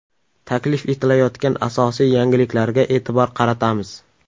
Taklif etilayotgan asosiy yangiliklarga e’tibor qaratamiz.